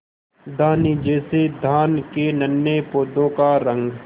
धानी जैसे धान के नन्हे पौधों का रंग